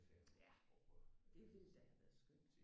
Ja det ville da have været skønt